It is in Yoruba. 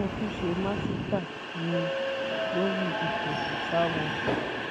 mo tún ṣe màsítáà miín lórí ìpẹtùsàáwọ